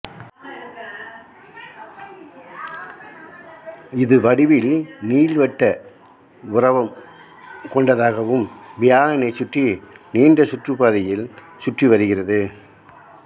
இது வடிவில் நீள்வட்ட உரவம் கொண்டதாகவும் வியாழனை சுற்றி நீண்டசுற்றுப்பாதையில் சுற்றிவருகிறது